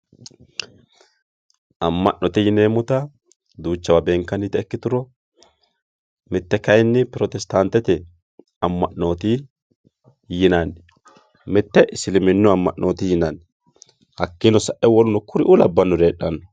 Mamanote yinanita duuchawa benkanita ikituro mitte kayini protestantete ama`noti yinani mitte isiliminu ama`moti hakiino sa`e w.k.l heedhano.